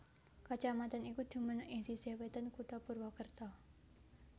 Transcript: Kacamatan iki dumunung ing sisih wétan kutha Purwakerta